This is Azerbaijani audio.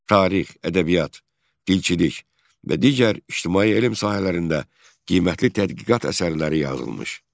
Tarix, ədəbiyyat, dilçilik və digər ictimai elm sahələrində qiymətli tədqiqat əsərləri yazılmışdı.